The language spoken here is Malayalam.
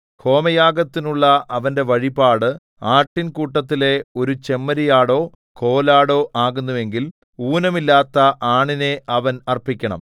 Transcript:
ഹോമയാഗത്തിനുള്ള അവന്റെ വഴിപാട് ആട്ടിൻകൂട്ടത്തിലെ ഒരു ചെമ്മരിയാടോ കോലാടോ ആകുന്നുവെങ്കിൽ ഊനമില്ലാത്ത ആണിനെ അവൻ അർപ്പിക്കണം